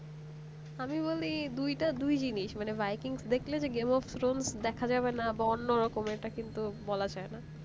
আমি বলি দুইটা দুই জিনিস মানে by kings দেখলে যে game of throne দেখা যাবে না বা অন্য রকমের এটা কিন্তু বলা যায় না